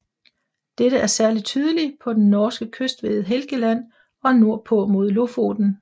Dette er særlig tydeligt på den norske kyst ved Helgeland og nordpå mod Lofoten